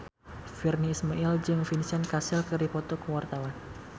Virnie Ismail jeung Vincent Cassel keur dipoto ku wartawan